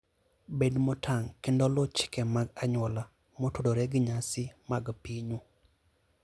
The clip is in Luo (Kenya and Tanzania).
Bed motang' kendo luw chike mag anyuola motudore gi nyasi mag pinyu.